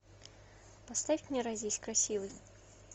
поставь не родись красивой